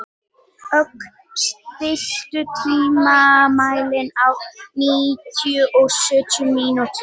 Ögn, stilltu tímamælinn á níutíu og sjö mínútur.